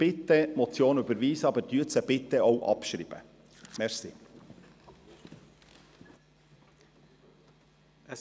Bitte überweisen Sie die Motion, aber schreiben Sie diese bitte auch ab.